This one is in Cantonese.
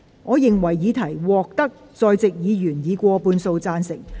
我認為議題獲得在席議員以過半數贊成。